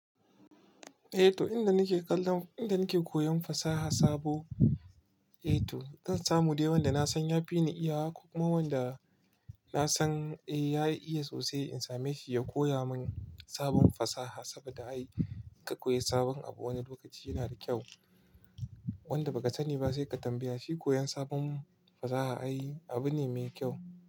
Eh to inda nike kallon, inda nike koyan fasaha sabo, eh to zan samu dai wanda nasan ya fi ni iyawa, ko ma wanda nasan eh ya iya sosai in same shi ya koya mun sabon fasaha, saboda ai ka koyi sabon abu wani lokaci yana da kyau. Wanda ba ka sani ba sai ka tambaya, shi koyan sabon fasaha ai abu ne me kyau.